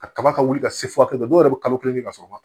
Kaba ka wuli ka se furakɛli dɔw yɛrɛ bɛ kalo kelen kɛ ka sɔrɔ u ma